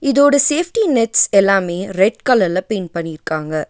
இதோட safety nets எல்லாமே red கலர்ல பெயின்ட் பண்ணிர்க்காங்க.